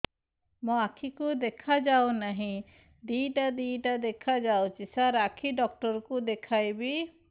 ମୋ ଆଖିକୁ ଦେଖା ଯାଉ ନାହିଁ ଦିଇଟା ଦିଇଟା ଦେଖା ଯାଉଛି ସାର୍ ଆଖି ଡକ୍ଟର କୁ ଦେଖାଇବି